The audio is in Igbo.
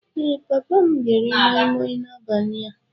Ee, papa m ga-eri moi Moi n'abalị a